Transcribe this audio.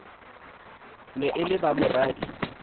ne e le ba moradi